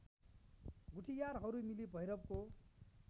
गुठीयारहरू मिली भैरवको